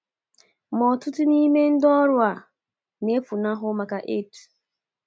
Ma ọtụtụ nime ndị ọrụ a na-efunahụ maka AIDS.